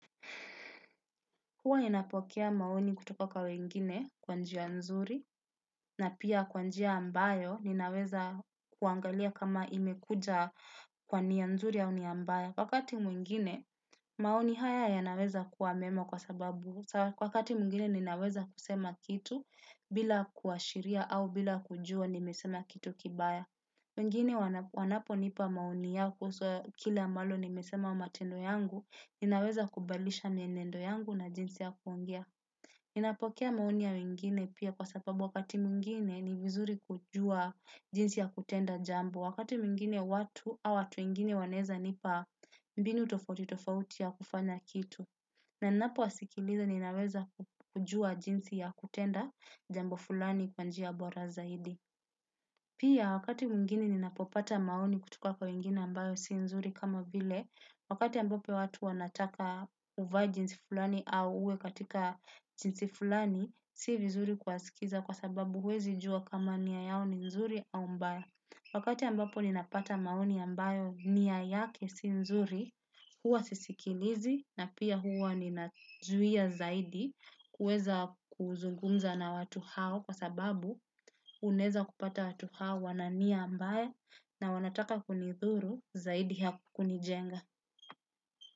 Huwa ninapokea mani kutoka kwa wengine kwa njia nzuri na pia kwa njia ambayo ninaweza kuangalia kama imekuja kwa nia nzuri ya au nia mbaya. Wakati mwengine maoni haya yanaweza kuwa mema kwa sababu wakati mwengine ninaweza kusema kitu bila kuashiria au bila kujua nimesema kitu kibaya. Wengine wanapo nipa maoni yako kuhusu kila ambalo nimesema matendo yangu, inaweza kubalisha mienendo yangu na jinsi ya kuongea. Ninapokea maoni ya wengine pia kwa sababu wakati mwingine ni vizuri kujua jinsi ya kutenda jambo. Wakati mwngine watu au watu wengine wanaweza nipa mbinu tofauti tofauti ya kufanya kitu. Na napo wasikiliza ninaweza kujua jinsi ya kutenda jambo fulani kwa njia bora zaidi. Pia wakati mwingini ninapopata maoni kutuka kwa wengine ambayo si nzuri kama vile, wakati ambapo watu wanataka uvae jinsi fulani au uwe katika jinsi fulani, si vizuri kuwasikiliza kwa sababu huwezi jua kama nia yao ni nzuri au mbaya. Wakati ambapo ninapata maoni ambayo nia yake si nzuri, huwa sisikilizi na pia huwa ninazuia zaidi kuweza kuzungumza na watu hao kwa sababu unaweza kupata watu hao wana nia mbaya na wanataka kunidhuru zaidi ya kunijenga.